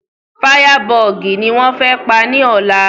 Fáyábọọ̀gì ni wọ́n fẹ́ pa ní ọ̀la